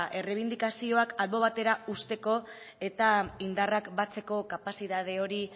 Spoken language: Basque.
errebindikazioak albo batera uzteko eta indarrak batzeko kapazidade hori